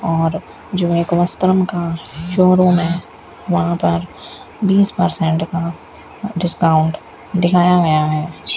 और जो एक वस्त्रम का शोरूम हैं वहाँ पर बीस पर्सेंट का डिस्काउंट दिखाया गया हैं।